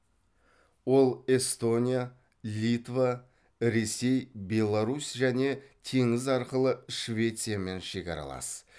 ол эстония литва ресей беларусь және теңіз арқылы швециямен шекаралас